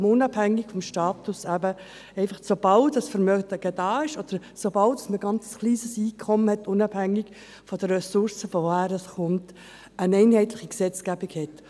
Man wird unabhängig vom Status, sobald Vermögen vorhanden ist, oder sobald ein kleines Einkommen besteht, unabhängig davon, woher es kommt, nach einheitlichem Gesetz behandelt.